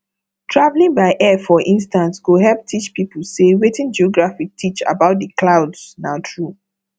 traveling by air for instance go help teach people say wetin geography teach about the clouds na true